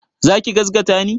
Za ki gazgata ni?